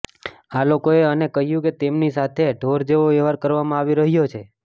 આ લોકોએ મને કહ્યું કે તેમની સાથે ઢોર જેવો વ્યવહાર કરવામાં આવી રહ્યો છે